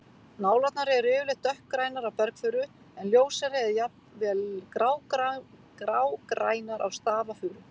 Nálarnar eru yfirleitt dökkgrænar á bergfuru en ljósari eða jafn vel grágrænar á stafafuru.